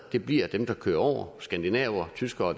det bliver dem der kører over skandinaver tyskere